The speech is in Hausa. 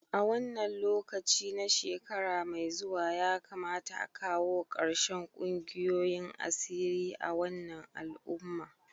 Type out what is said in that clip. A wannan lokaci na shekara mai zuwa ya kamata a kawo karshen kungiyoyin asiri a wannan al'umma